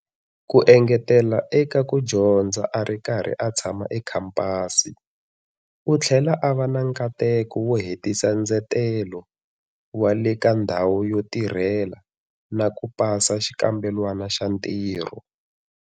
Ku engetela eka ku dyondza a ri karhi a tshama ekhampasi, u tlhele a va na nkateko wo hetisa ndzetelo wa le ka ndhawu yo tirhela na ku pasa xikambelwana xa ntirho.